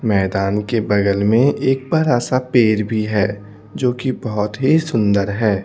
मैदान के बगल में एक बड़ा सा पेड़ भी है जो कि बहोत ही सुंदर है।